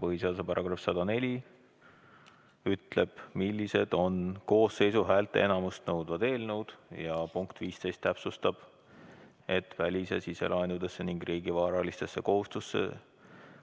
Põhiseaduse § 104 ütleb, millised on koosseisu häälteenamust nõudvad eelnõud, ja punkt 15 täpsustab, et välis- ja siselaenudesse ning riigi varalistesse